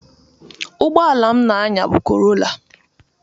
Ụgboala m na-anya bụ korola.